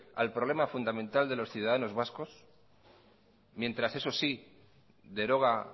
al problema fundamental de los ciudadanos vascos mientras eso sí deroga